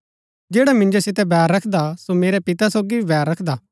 जैडा मिन्जो सितै बैर रखदा सो मेरै पिता सोगी भी बैर रखदा हा